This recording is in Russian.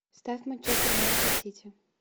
ставь манчестер юнайтед сити